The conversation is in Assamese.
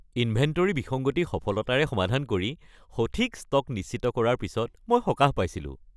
ইনভেণ্টৰী বিসংগতি সফলতাৰে সমাধান কৰি, সঠিক ষ্টক নিশ্চিত কৰাৰ পিছত মই সকাহ পাইছিলো।